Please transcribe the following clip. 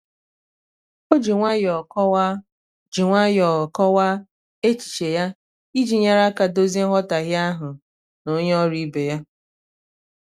o ji nwayọọ kọwaa ji nwayọọ kọwaa echiche ya iji nyere aka dozie nghọtahie ahụ na onye ọrụ ibe ya.